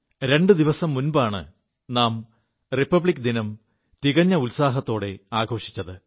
രണ്ടു ദിവസം മുൻപാണ് നാം റിപ്പിക് ദിനം തികഞ്ഞ ഉത്സാഹത്തോടെ ആഘോഷിച്ചത്